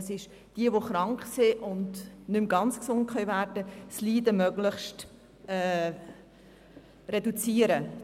Bei der Tertiärprävention geht es darum, bei Leuten, die nicht mehr ganz gesund werden können, das Leid möglichst zu reduzieren.